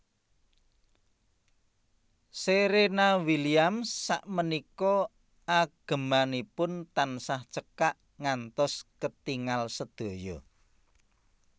Serena Williams sakmenika agemanipun tansah cekak ngantos ketingal sedaya